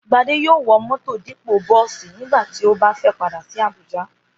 Gbadé yóò wọ mọ́tọ̀ dípò bọ́ọ̀sì nígbà tí ó bá fẹ́ padà sí Abuja